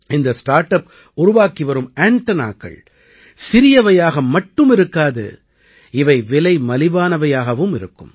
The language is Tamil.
இந்த ஸ்டார்ட் அப் உருவாக்கி வரும் ஆண்டெனாக்கள் சிறியவையாக மட்டும் இருக்காது இவை விலை மலிவானவையாகவும் இருக்கும்